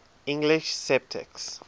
english sceptics